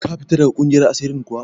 Ka fita daga ƙungiyar asirin kuwa?